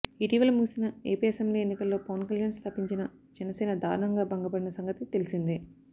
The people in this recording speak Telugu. ఇటీవల ముగిసిన ఏపీ అసెంబ్లీ ఎన్నికల్లో పవన్ కల్యాణ్ స్థాపించిన జనసేన దారుణంగా భంగపడిన సంగతి తెలిసిందే